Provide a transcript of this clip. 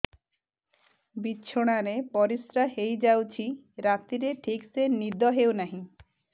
ବିଛଣା ରେ ପରିଶ୍ରା ହେଇ ଯାଉଛି ରାତିରେ ଠିକ ସେ ନିଦ ହେଉନାହିଁ